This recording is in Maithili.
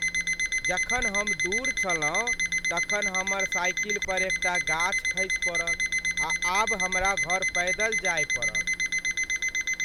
जखन हम दूर छलहुँ तखन हमर साइकिल पर एकटा गाछ खसि पड़ल आ आब हमरा घर पैदल जाय पड़त।